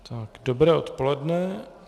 Dobré odpoledne.